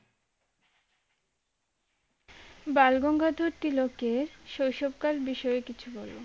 বালগঙ্গাধর তিলক কে শৈশব কাল বিষয়ে কিছু বলো